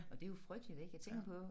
Og det jo frygteligt ik jeg tænker på